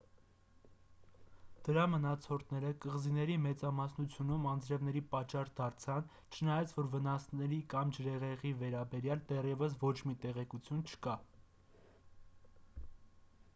դրա մնացորդները կղզիների մեծամասնությունում անձրևների պատճառ դարձան չնայած որ վնասների կամ ջրհեղեղի վերաբերյալ դեռևս ոչ մի տեղեկություն չկա